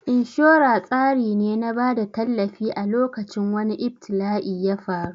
Inshora tsari ne na bada tallafi a lokacin wani ibtila'i yafaru